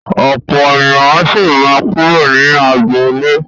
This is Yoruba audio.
Ọ̀pọ̀ ènìyàn sì máa kúrò ní agboolé.